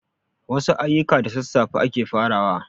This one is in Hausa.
Wasu ayuka da sassafe ake farawa